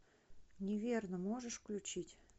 неверно можешь включить